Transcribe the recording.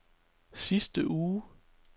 sidste uge